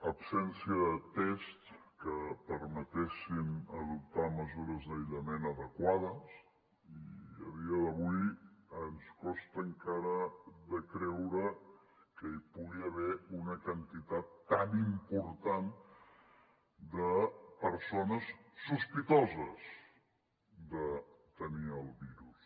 absència de tests que permetessin adoptar mesures d’aïllament adequades i a dia d’avui ens costa encara de creure que hi pugui haver una quantitat tan important de persones sospitoses de tenir el virus